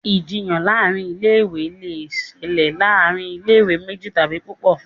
Ìjiyàn láàrin ilé ìwé lẹ ṣẹlẹ láàrin ilé ìwé méjì tàbí púpọ.